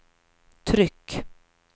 tryck